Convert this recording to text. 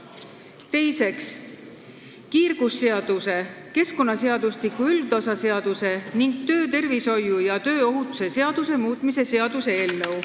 Teiseks, kiirgusseaduse, keskkonnaseadustiku üldosa seaduse ning töötervishoiu ja tööohutuse seaduse muutmise seaduse eelnõu.